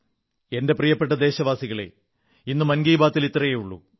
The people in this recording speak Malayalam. എന്റെ പ്രിയപ്പെട്ട ദേശവാസികളേ ഇന്ന് മൻ കീ ബാത്ൽ ഇത്രയേ ഉള്ളൂ